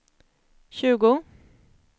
tjugo